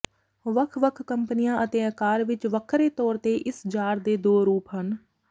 ਵੱਖ ਵੱਖ ਕੰਪਨੀਆਂ ਅਤੇ ਆਕਾਰ ਵਿਚ ਵੱਖਰੇ ਤੌਰ ਤੇ ਇਸ ਜਾਰ ਦੇ ਦੋ ਰੂਪ ਹਨ